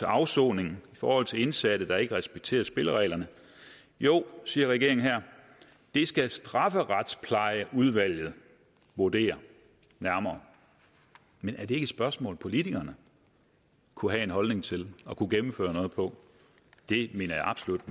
afsoning i forhold til indsatte der ikke respekterer spillereglerne jo siger regeringen her det skal strafferetsplejeudvalget vurdere nærmere men er det spørgsmål politikerne kunne have en holdning til og kunne gennemføre noget på det mener jeg absolut